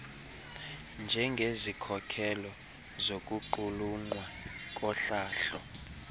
njengezikhokelo zokuqulunqwa kohlahlo